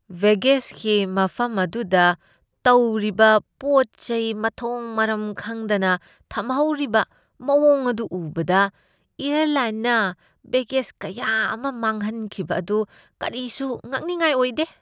ꯕꯦꯒꯦꯖꯀꯤ ꯃꯐꯝ ꯑꯗꯨꯗ ꯇꯧꯔꯤꯕ ꯄꯣꯠ ꯆꯩ ꯃꯊꯣꯡ ꯃꯔꯝ ꯈꯪꯗꯅ ꯊꯝꯍꯧꯔꯤꯕ ꯃꯑꯣꯡ ꯑꯗꯨ ꯎꯕꯗ, ꯑꯦꯌꯔꯂꯥꯏꯟꯅ ꯕꯦꯒꯦꯖ ꯀꯌꯥ ꯑꯃ ꯃꯥꯡꯍꯟꯈꯤꯕ ꯑꯗꯨ ꯀꯔꯤꯁꯨ ꯉꯛꯅꯤꯡꯉꯥꯏ ꯑꯣꯏꯗꯦ ꯫